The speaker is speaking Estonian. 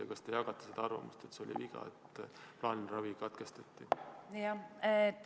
Ja kas te jagate arvamust, et plaanilise ravi katkestamine oli viga?